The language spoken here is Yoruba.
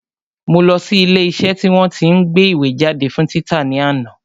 Mo lọ sí ilé iṣẹ́ tí wọ́n tí ń gbé ìwé jáde fún títa ní àná